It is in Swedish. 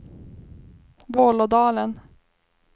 Vålådalen